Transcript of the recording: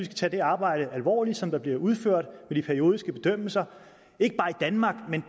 tage det arbejde alvorligt som bliver udført med de periodiske bedømmelser ikke bare i danmark men